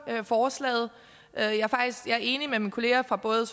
forslaget jeg er enig med mine kolleger fra både